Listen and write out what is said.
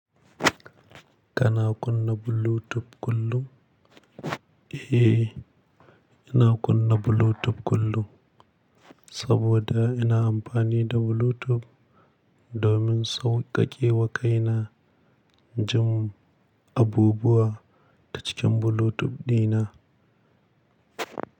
Kana kunna Bluetooth kullum? Eh, ina kunna Bluetooth kullum saboda ina amfani da Bluetooth domin sauƙaƙe wa kaina jin abubuwa ta cikin Bluetooth dina.